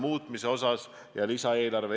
Austatud härra peaminister!